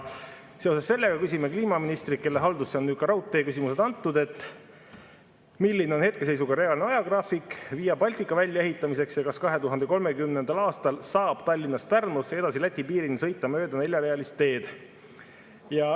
Seoses sellega küsime kliimaministrilt, kelle haldusse on nüüd ka raudteeküsimused antud, milline on hetkeseisuga reaalne ajagraafik Via Baltica väljaehitamiseks ja kas 2030. aastal saab Tallinnast Pärnusse ja edasi Läti piirini sõita mööda neljarealist teed.